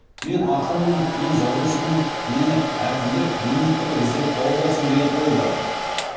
мен ақынмын мен жазушымын мені әкімдік министрлік іздеп тауып алсын деген ой бар